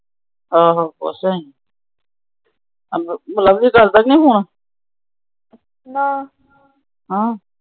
ਆਹੋ ਪੁੱਛ ਆਇ। ਲਵਲੀ ਕਰਦਾ ਕਿ ਨਹੀਂ ਫੋਨ। ਨਾ